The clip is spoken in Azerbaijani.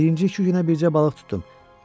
Birinci iki günə bircə balıq tutdum.